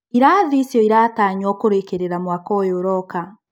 Irathi icio iratanywo kũrĩkĩrĩra mwaka ũyũ ũroka.